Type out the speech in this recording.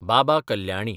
Baba Kalyani